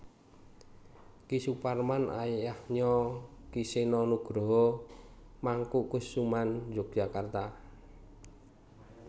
Ki Suparman ayahnya Ki Seno Nugroho Mangkukusuman Yogyakarta